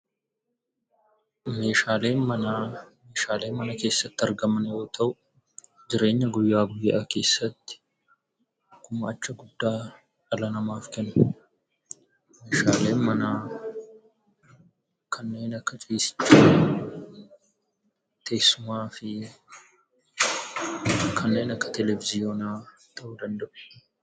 Meeshaalee manaa Meeshaalee mana keessatti argaman yoo ta'u, jireenya guyyaa guyyaa Keessatti gumaacha guddaa dhala namaaf oolan. Meeshaaleen manaa kanneen akka ciisichaa teessumaa fi kanneen akka televizyiinaa ta'uu danda'a.